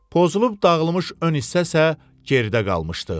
Pozulub dağılmış ön hissə isə geridə qalmışdı.